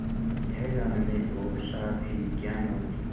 यह जानने और साथ ही विज्ञान और